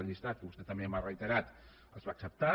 al llistat que vostè també m’ha reiterat els va acceptar